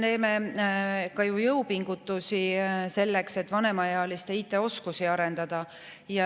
No me teeme ju jõupingutusi ka selleks, et vanemaealiste IT-oskusi arendada.